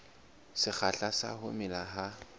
sekgahla sa ho mela ha